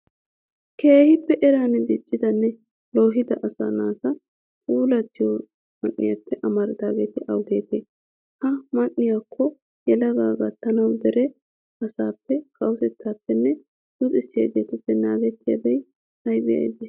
Keehippe eran diccidanne loohida asaa naati pulttiyo man"etuppe amaridaageeti awugeetee? Ha man"etukko yelagata gattanawu dere asaappe, kawotettaappenne luxissiyageetuppe naagettiyabati aybee aybee?